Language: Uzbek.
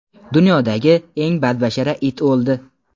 Dunyodagi eng badbashara it o‘ldi.